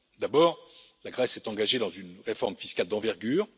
D'abord, la Grèce s'est engagée dans une réforme fiscale d'envergure.